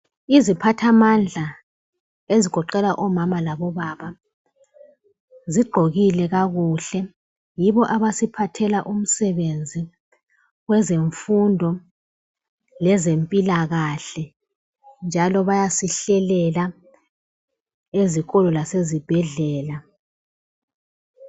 Iziphathamandla ezigoqela omama labobaba zigqokile kakuhle, yibo abasiphathela umsebenzi kwezemfundo lezempilakahle, njalo bayasihlelela ezikolo lasezibhedlela.